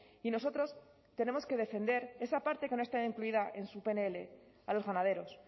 y nosotros tenemos que defender esa parte que no está incluida en su pnl a los ganaderos